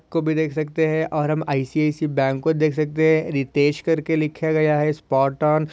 को भी देख सकते है और हम आय.सी.आय.सी.आय. बैंक को देख सकते है रितेश करके लिखा गया है स्पॉट ऑन --